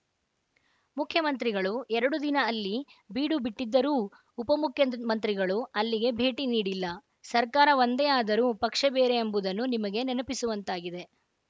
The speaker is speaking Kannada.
ಮುಖ್ಯಮಂತ್ರಿಗಳು ಎರಡು ದಿನ ಅಲ್ಲಿ ಬೀಡು ಬಿಟ್ಟಿದ್ದರೂ ಉಪಮುಖ್ಯ ಮಂತ್ರಿಗಳು ಅಲ್ಲಿಗೆ ಭೇಟಿ ನೀಡಿಲ್ಲ ಸರ್ಕಾರ ಒಂದೇ ಆದರೂ ಪಕ್ಷ ಬೇರೆ ಎಂಬುದನ್ನು ನಿಮಗೆ ನೆನಪಿಸುವಂತಾಗಿದೆ